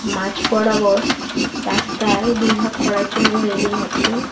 মাঝবরাবর রাস্তায় দুই ভাগ করার জন্য রেলিং আছে।